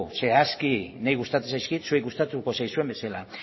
zehazki niri gustatzen zaizkit zuei gustatuko zaizuen bezala